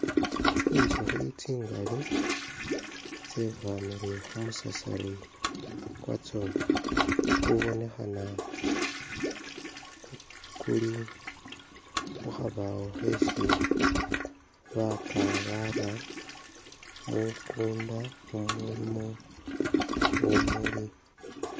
Tsinzukhi tsingali tsebwamile khumasasari kwatso kubonekhana kuli khu khabawo khesi bapa bara mukunda mumulimo bumuli.